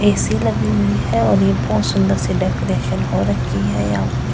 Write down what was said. AC लगी हुई है और ये बहुत सुंदर सी डेकोरेशन हो रखी है यहां पे--